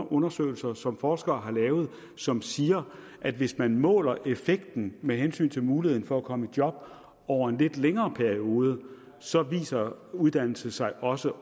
undersøgelser som forskere har lavet som siger at hvis man måler effekten med hensyn til muligheden for at komme i job over en lidt længere periode så viser uddannelse sig også